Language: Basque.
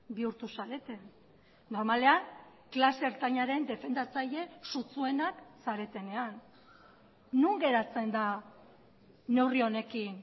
bihurtu zarete normalean klase ertainaren defendatzaile sutsuenak zaretenean non geratzen da neurri honekin